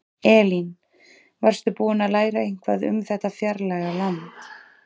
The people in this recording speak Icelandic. Elín: Varstu búin að læra eitthvað um þetta fjarlæga land?